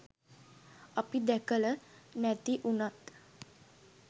අපි දැකල නැති වුනත්